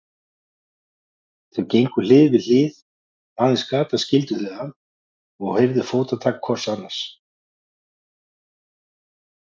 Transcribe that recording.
Þau gengu hlið við hlið, aðeins gatan skildi þau að, og heyrðu fótatak hvort annars.